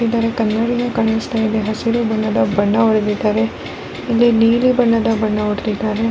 ಇದರ ಕನ್ನಡಿಗೆ ಕಾಣಿಸ್ತಾ ಇದೆ ಹಸಿರು ಬಣ್ಣದ ಬಣ್ಣ ಹೊಡ್ದಿದ್ದಾರೆ ಇಲ್ಲಿ ನೀಲಿ ಬಣ್ಣದ ಬಣ್ಣ ಹೊಡ್ದಿದ್ದಾರೆ.